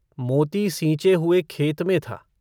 मोती सींचे हुए खेत में था।